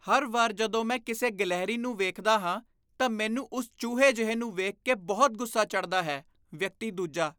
ਹਰ ਵਾਰ ਜਦੋਂ ਮੈਂ ਕਿਸੇ ਗਿਲਹਰੀ ਨੂੰ ਵੇਖਦਾ ਹਾਂ, ਤਾਂ ਮੈਨੂੰ ਉਸ ਚੂਹੇ ਜਿਹੇ ਨੂੰ ਵੇਖ ਕੇ ਬਹੁਤ ਗੁੱਸਾ ਚੜ੍ਹਦਾ ਹੈ ਵਿਅਕਤੀ ਦੂਜਾ